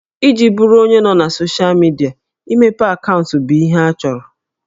Iji bụrụ onye nọ na soshịa midia, imepe akaụntụ bụ ihe a chọrọ